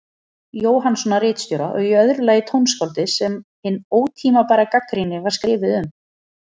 Jóhannssonar ritstjóra, og í öðru lagi tónskáldið sem hin ótímabæra gagnrýni var skrifuð um.